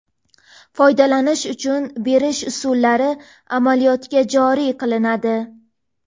foydalanish uchun berish usullari amaliyotga joriy qilinadi.